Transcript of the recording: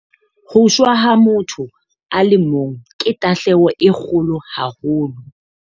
Ho shwa ha motho a le mong ke tahlehelo e kgolo haholo.